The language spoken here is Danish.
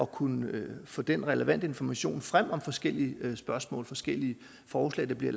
kunne få den relevante information frem om forskellige spørgsmål forskellige forslag der bliver